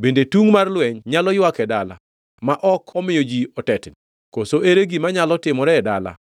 Bende tungʼ mar lweny nyalo ywak e dala ma ok omiyo ji otetni? Koso ere gima nyalo timore e dala